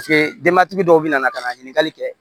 Paseke denbatigi dɔw bɛ na ka na ɲininkali kɛ